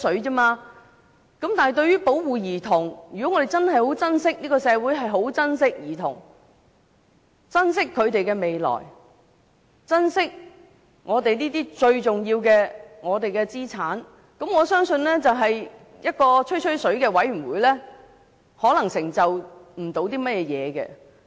但對於保護兒童，如果我們的社會真的十分珍惜兒童、珍惜他們的未來、珍惜我們這些最重要的資產，我相信一個"吹吹水"的委員會不能有甚麼成就。